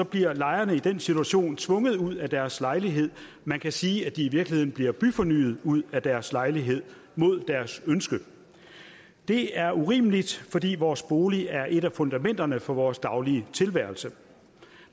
bliver lejerne i den situation tvunget ud af deres lejlighed man kan sige at de i virkeligheden bliver byfornyet ud af deres lejlighed mod deres ønske det er urimeligt fordi vores bolig er et af fundamenterne for vores daglige tilværelse